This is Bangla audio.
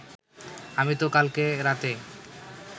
আমি তো কালকে রাতে